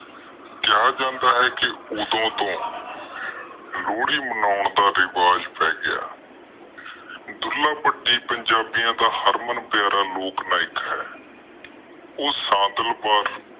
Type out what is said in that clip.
ਕਿਹਾ ਜਾਂਦਾ ਹੈ ਕਿ ਓਦੋ ਤੋਂ ਲੋਹੜੀ ਮਨਾਉਣ ਦਾ ਰਿਵਾਜ ਪੈ ਗਿਆ। ਢੁਲਾ ਭੱਟੀ ਪੰਜਾਬੀਊਆ ਦਾ ਹਰਮਨ ਪਯਾਰਾ ਲੋਕ ਨਾਇਕ ਹੈ।